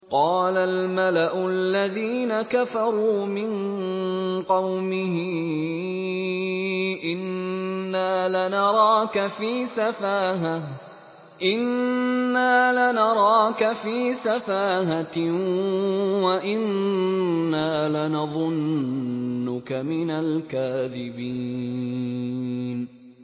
قَالَ الْمَلَأُ الَّذِينَ كَفَرُوا مِن قَوْمِهِ إِنَّا لَنَرَاكَ فِي سَفَاهَةٍ وَإِنَّا لَنَظُنُّكَ مِنَ الْكَاذِبِينَ